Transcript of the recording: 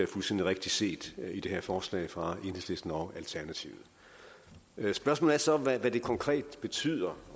fuldstændig rigtigt set i det her forslag fra enhedslisten og alternativet spørgsmålet er så hvad det konkret betyder